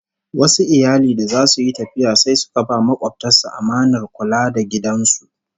Wasu iyali da zasu yi tafiya sai suka ba makobtan su amanar kula da gidan su